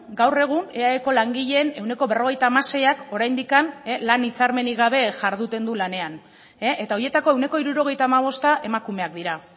gaur egun eaeko langileen ehuneko berrogeita hamaseiak oraindik lan hitzarmenik gabe jarduten du lanean eta horietako ehuneko hirurogeita hamabosta emakumeak dira